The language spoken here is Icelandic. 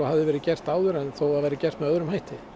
hafði verið gert áður þó það væri gert með öðrum hætti